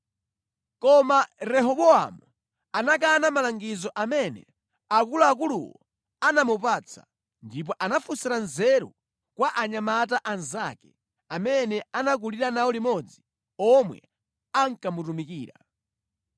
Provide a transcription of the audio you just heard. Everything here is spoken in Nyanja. Koma Rehobowamu anakana malangizo amene akuluakuluwo anamupatsa ndipo anafunsira nzeru kwa anyamata anzake amene anakulira nawo limodzi omwe ankamutumikira.